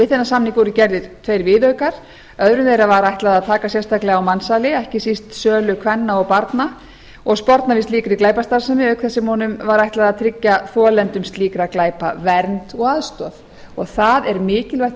við þennan samning voru gerðir tveir viðaukar öðrum þeirra var ætlað að taka sérstaklega á mansali ekki síst sölu kvenna og barna og sporna við slíkri glæpastarfsemi auk þess sem honum var ætlað að tryggja þolendum slíkra glæpa vernd og aðstoð það er mikilvægt